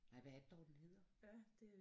Nej hvad er det dog den hedder